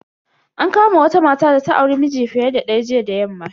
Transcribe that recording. An kama wata mata data auri miji fiye da daya jiya da yamma.